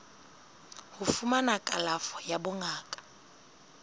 ho fumana kalafo ya bongaka